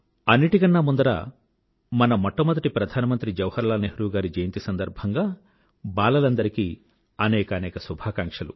అన్నిటికన్నా ముందర మన మొట్టమొదటి ప్రధానమంత్రి జవహర్లాల్ నెహ్రూ గారి జయంతి సందర్భంగా బాలలందరికీ అనేకానేక శుభాకాంక్షలు